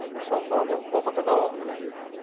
O pessoal fala, né, um pau para toda obra, né?